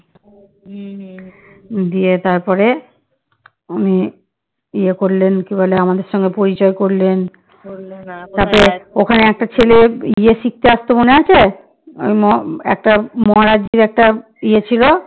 ওখানে একটা ছেলে ইয়ে শিখতে আসতো মনে আছে একটা মহারাজ জি একটা ইয়ে ছিল